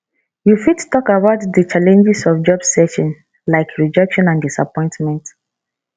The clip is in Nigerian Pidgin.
you fit talk about di challenges of job searching like rejection and disappointment